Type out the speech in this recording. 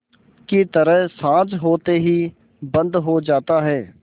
की तरह साँझ होते ही बंद हो जाता है